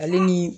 Ale ni